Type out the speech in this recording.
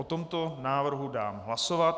O tomto návrhu dám hlasovat.